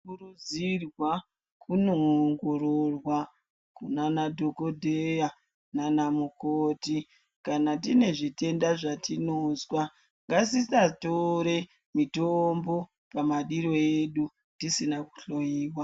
Tinokurudzirwa kuongororwa kunana dhokodheya nanamukoti, kana tine zvitenda zvatinozwa ngatisatore mitombo madiro edu tisina kuhloyiwa.